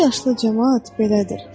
Bu yaşlı camaat belədir.